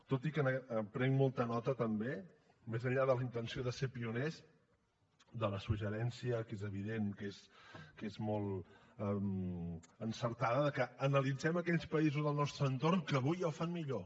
tot i que en prenc molta nota també més enllà de la intenció de ser pioners del suggeriment que és evident que és molt encertat que analitzem aquells països del nostre entorn que avui ja ho fan millor